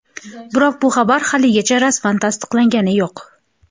Biroq bu xabar haligacha rasman tasdiqlangani yo‘q.